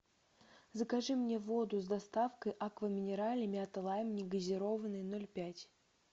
закажи мне воду с доставкой аква минерале мята лайм негазированная ноль пять